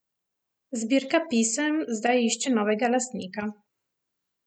Zbirka pisem zdaj išče novega lastnika.